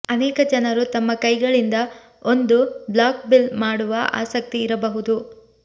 ಅನೇಕ ಜನರು ತಮ್ಮ ಕೈಗಳಿಂದ ಒಂದು ಬ್ಲಾಕ್ ಬಿಲ್ಲು ಮಾಡುವ ಆಸಕ್ತಿ ಇರಬಹುದು